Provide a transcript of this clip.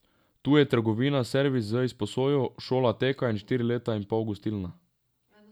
Tu je trgovina, servis z izposojo, šola teka in štiri leta in pol gostilna.